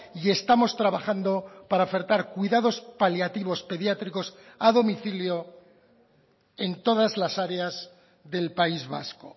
y estamos trabajando para ofertar cuidados paliativos pediátricos a domicilio en todas las áreas del país vasco